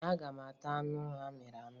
Ee, aga m ata anụ amịrị amị.